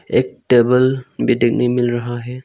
एक टेबल भी देखने में मिल रहा है।